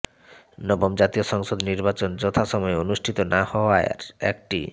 নবম জাতীয় সংসদ নির্বাচন যথাসময়ে অনুষ্ঠিত না হওয়ার একটি